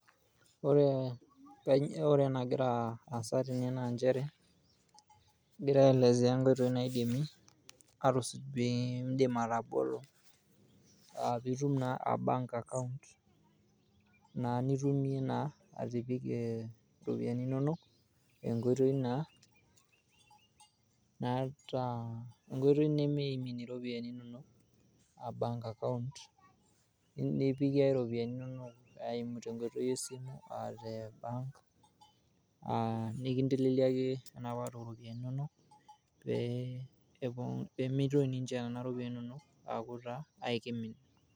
ore ena gira aasa tene naa egira aelezea ingoitoi niima pee idim atabolo bank account, naa nitumie atipika iropiyiani inonok, enkoitoi naa naata nimimin iropiyiani inonok eimu enkoitoii esimu, ebank nikinteleliaki pee mitoki nena ropiyiani inonok aiputa kake kimin.